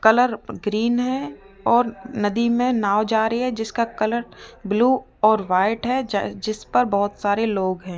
Colour green है और नदी में नाव जा रही है जिसका कलर ब्लू और वाइट है जै जिसपर बहोत सारे लोग हैं।